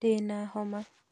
Ndĩna homa